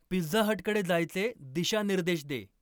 pizza हटकडे जायचे दिशानिर्देश दे